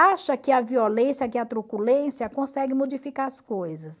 Acha que a violência, que a truculência consegue modificar as coisas.